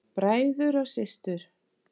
Bræður og systur!